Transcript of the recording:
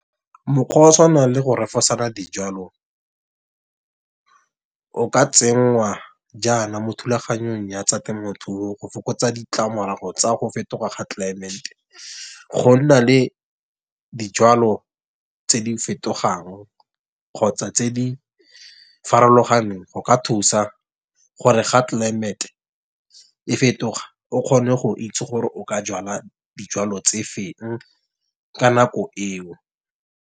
Mokgwa wa tshwanang le go refosanya dijalo, o ka tsenngwa jaana mo thulaganyong ya tsa temothuo. Go fokotsa ditlamorago tsa go fetoga ga tlelaemete. Go nna le dijwalo tse di fetogang kgotsa tse di farologaneng go ka thusa gore ga climate, e fetoga. O kgone go itse gore o ka jala dijwalo tse feng ka nako eo.